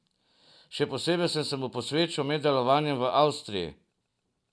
Še posebej sem se mu posvečal med delovanjem v Avstriji.